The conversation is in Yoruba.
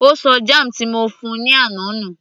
Ó ṣọ jam ti mo fún -un ní àná nù